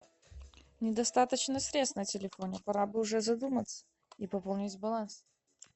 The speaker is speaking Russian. недостаточно средств на телефоне пора бы уже задуматься и пополнить баланс